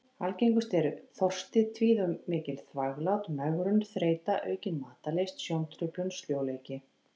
Algengust eru: þorsti, tíð og mikil þvaglát, megrun, þreyta, aukin matarlyst, sjóntruflun, sljóleiki.